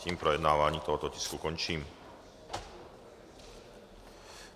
Tímto projednávání tohoto tisku končím.